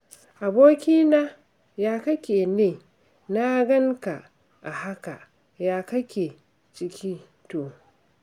Ya abokina, ya kake ne na gan ka a haka? Ya ake ciki to?